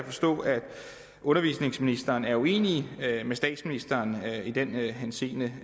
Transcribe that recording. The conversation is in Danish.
forstå at undervisningsministeren er uenig med statsministeren i den henseende